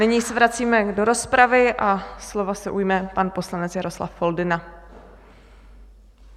Nyní se vracíme do rozpravy a slova se ujme pan poslanec Jaroslav Foldyna.